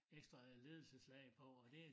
Ekstra ledelseslag på og det